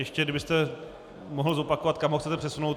Ještě kdybyste mohl zopakovat, kam ho chcete přesunout.